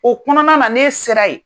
O kɔnɔna na n'e sera ye.